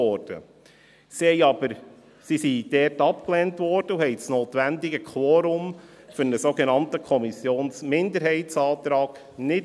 Sie wurden dort aber abgelehnt und erreichten das notwendige Quorum für einen sogenannten Kommissionsminderheitsantrag nicht.